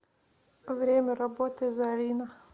время работы зарина